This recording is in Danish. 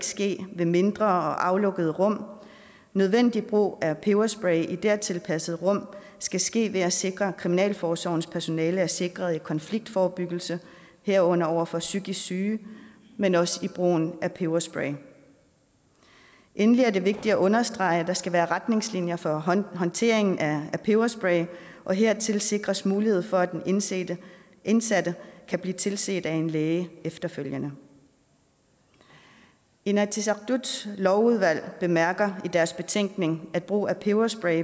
ske i mindre og aflukkede rum nødvendig brug af peberspray i dertil tilpassede rum skal ske ved at sikre at kriminalforsorgens personale er sikret i konfliktforebyggelse herunder over for psykisk syge men også i brugen af peberspray endelig er det vigtigt at understrege at der skal være retningslinjer for håndtering af peberspray og hertil sikres mulighed for at den indsatte indsatte kan blive tilset af en læge efterfølgende inatsisartuts lovudvalg bemærker i deres betænkning at brug af peberspray